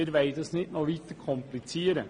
Wir wollen das nicht noch weiter komplizieren.